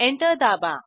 enter दाबा